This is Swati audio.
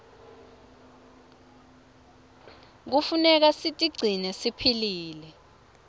knefuneka sitigcine siphilile